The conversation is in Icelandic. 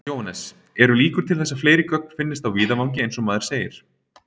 Jóhannes: Eru líkur til þess að fleiri gögn finnist á víðavangi eins og maður segir?